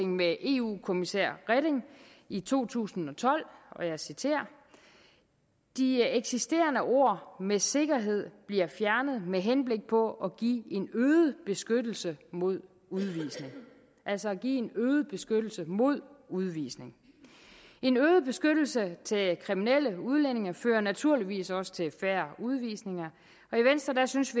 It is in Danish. med eu kommissær reding i to tusind og tolv og jeg citerer de eksisterende ord med sikkerhed bliver fjernet med henblik på at give en øget beskyttelse mod udvisning altså give en øget beskyttelse mod udvisning en øget beskyttelse til kriminelle udlændinge fører naturligvis også til færre udvisninger og i venstres synes